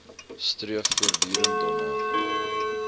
streef voortdurend daarna